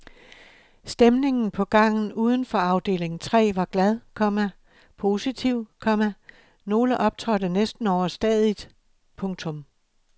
Stemningen på gangen uden for afdeling tre var glad, komma positiv, komma nogle optrådte næsten overstadigt. punktum